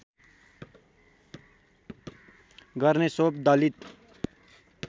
गर्ने सोव दलित